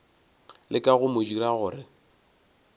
leka go mo dira gore